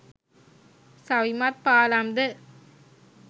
සවිමත් පාලම් ද